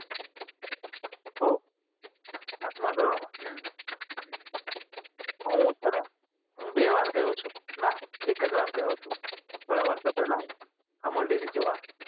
ઓહ પાંચ મા ધોરણ હતી તો હુ છે ને બે વાર ગયો છુ ના એક જ વાર ગયો છુ થોડા વર્ષો પેહલા અમુલ ડેરી જોવા